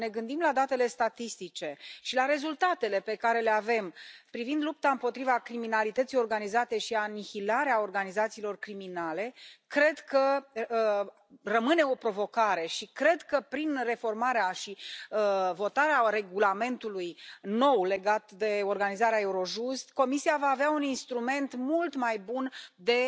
Dacă ne gândim la datele statistice și la rezultatele pe care le avem privind lupta împotriva criminalității organizate și anihilarea organizațiilor criminale, cred că rămâne o provocare și cred că prin reformarea și votarea regulamentului nou legat de organizarea Eurojust, Comisia va avea un instrument mult mai bun de